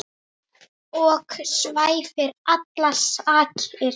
ok svæfir allar sakir.